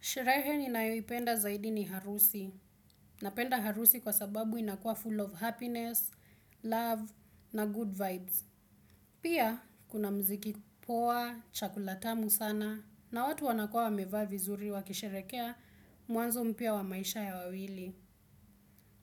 Sherehe ninayoipenda zaidi ni harusi. Napenda harusi kwa sababu inakuwa full of happiness, love, na good vibes. Pia, kuna mziki poa, chakula tamu sana, na watu wanakuwa wamevaa vizuri wakisherehekea mwanzo mpya wa maisha ya wawili.